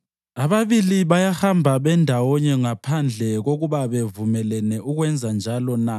Ababili bayahamba bendawonye ngaphandle kokuba bevumelene ukwenzanjalo na?